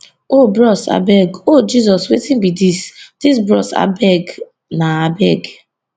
oh bros abeg oh jesus wetin be dis dis bros abeg na abeg